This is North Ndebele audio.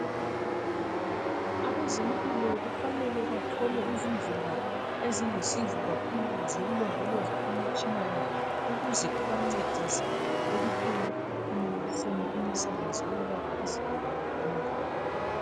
Abezempilakahle kufanele bathole izindlela ezilusizo kakhulu zokulondoloza imitshina yabo ukuze ibancedise ekuphumeleliseni imisebenzi yokwelapha izigulane yonke.